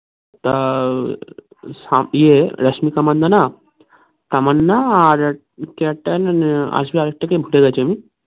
তো রাশমিকা মন্দনা তামান্না আর কে একটা জানি আসবে আরেকটা কে ভুলে গেছি আমি